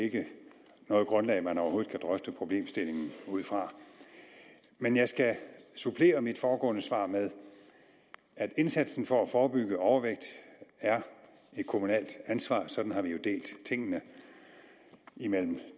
ikke noget grundlag som man overhovedet kan drøfte problemstillingen ud fra men jeg skal supplere mit foregående svar med at indsatsen for at forebygge overvægt er et kommunalt ansvar sådan har vi jo delt tingene imellem